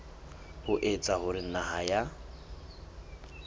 ho etsa hore naha ya